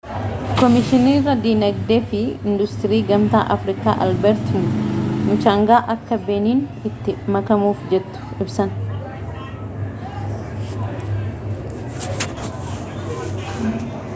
koomishinarii dinagdee fi industirii gamtaa afrikaa albeert muchangaa akka beniin itti makamuuf jettu ibsan